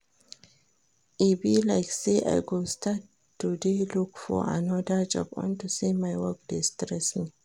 E be like say I go start to dey look for another job unto say my work dey stress me